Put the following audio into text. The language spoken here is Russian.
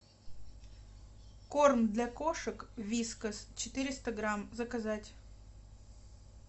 корм для кошек вискас четыреста грамм заказать